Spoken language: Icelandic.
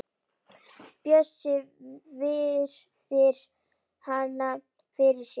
Bjössi virðir hana fyrir sér.